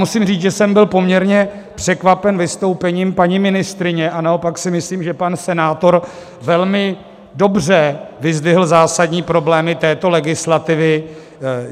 Musím říct, že jsem byl poměrně překvapen vystoupením paní ministryně, a naopak si myslím, že pan senátor velmi dobře vyzdvihl zásadní problémy této legislativy.